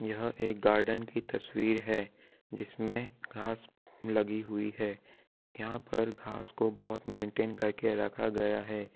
यह एक गार्डन की तस्वीर है जिसमें घास लगी हुई है यहॉं पर घास को बोहोत मेंनटेन करके रखा गया है।